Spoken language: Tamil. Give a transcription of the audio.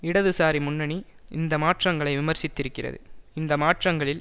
இடதுசாரி முன்னணி இந்த மாற்றங்களை விமர்சித்திருக்கிறது இந்த மாற்றங்களில்